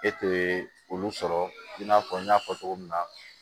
E te olu sɔrɔ i n'a fɔ n y'a fɔ cogo min na